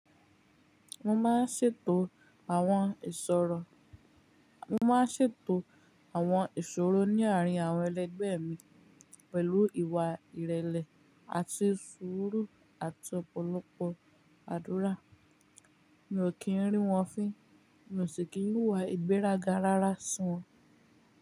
Mo máa ń ṣètò àwọn ìṣòro, mo máa ń ṣètò àwọn ìṣòro ní àárín àwọn ẹlẹgbẹ́ mi pẹ̀lú ìwà ìrẹ̀lẹ̀ àti sùúrù àti ọ̀pọ̀lọpọ̀ àdúrà. Mi ò kí ń rí wọ́n fín, mi ò sì kí ń wuwà ìgbéraga rárá si wọ́n.